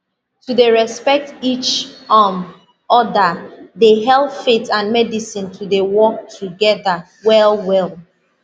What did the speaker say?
to dey respect each um other dey help faith and medicine to dey work together well well